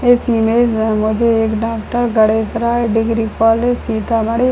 इस इमेज में मुझे एक doctor Garesh Rai degree college Sitamarhi --